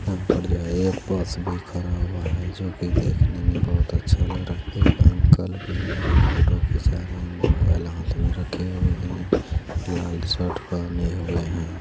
यहां पर जो है एक बस भी खड़ा हुआ है जो की देखने में बहुत अच्छा लग रहा है एक अंकल भी है जो फोटो खींचा रहे है मोबाइल हाथ में रखे हुए है लाल शर्ट पहने हुए है।